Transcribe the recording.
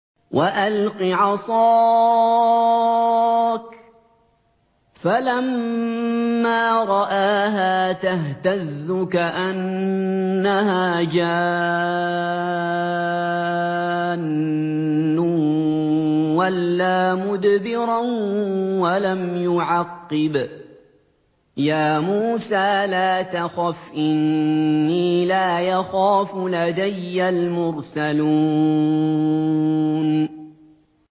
وَأَلْقِ عَصَاكَ ۚ فَلَمَّا رَآهَا تَهْتَزُّ كَأَنَّهَا جَانٌّ وَلَّىٰ مُدْبِرًا وَلَمْ يُعَقِّبْ ۚ يَا مُوسَىٰ لَا تَخَفْ إِنِّي لَا يَخَافُ لَدَيَّ الْمُرْسَلُونَ